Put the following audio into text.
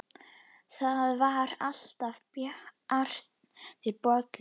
Það var alltaf bjartur bolli.